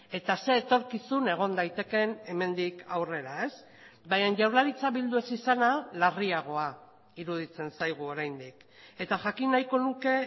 eta ze etorkizun egon daitekeen hemendik aurrera baina jaurlaritza bildu ez izana larriagoa iruditzen zaigu oraindik eta jakin nahiko nuke